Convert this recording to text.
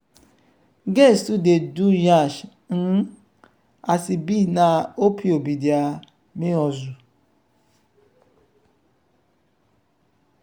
girls too dey do nyash um as e be na opio be dia main hustle.